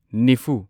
ꯅꯤꯐꯨ